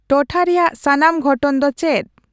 ᱴᱚᱴᱷᱟ ᱨᱮᱭᱟᱜ ᱥᱟᱱᱟᱢ ᱜᱷᱚᱴᱚᱱ ᱫᱚ ᱪᱮᱫ